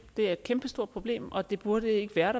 det er et kæmpestort problem og det burde ikke være